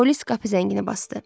Polis qapı zəngini basdı.